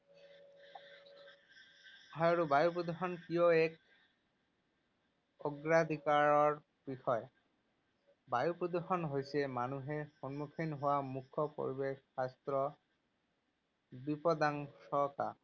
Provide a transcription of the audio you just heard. হয়, আৰু বায়ু প্ৰদূষণ কিয় এক অগ্ৰাধিকাৰৰ বিষয়? বায়ু প্ৰদূষণ হৈছে মানুহে সন্মুখীন হোৱা মুখ্য পৰিৱেশ স্বাস্থ্য বিপদাশংকা।